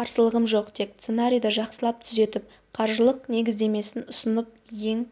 қарсылығым жоқ тек сценарийді жақсылап түзетіп қаржылық негіздемесін ұсынып ең